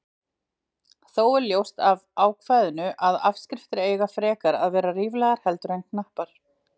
Þó er ljóst af ákvæðinu að afskriftir eiga frekar að vera ríflegar heldur en knappar.